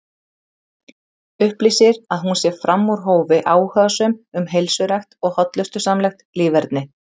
Upplýsir að hún sé fram úr hófi áhugasöm um heilsurækt og hollustusamlegt líferni.